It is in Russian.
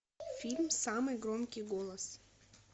фильм самый громкий голос